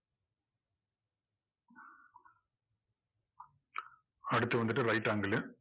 அடுத்து வந்துட்டு right angle உ